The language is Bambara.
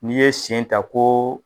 N'i ye sen ta ko.